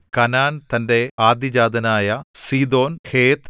Canaan തന്റെ ആദ്യജാതനായ Sidon ഹേത്ത്